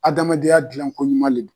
Adamadenya dilankoɲuman le do.